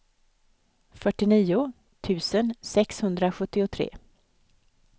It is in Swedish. fyrtionio tusen sexhundrasjuttiotre